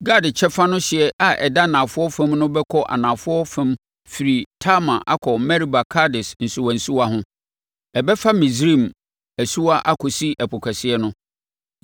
Gad kyɛfa no hyeɛ a ɛda anafoɔ fam no bɛkɔ anafoɔ fam afiri Tamar akɔ Meriba Kades nsuwansuwa ho, ɛbɛfa Misraim asuwa akɔsi Ɛpo Kɛseɛ no.